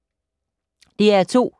DR2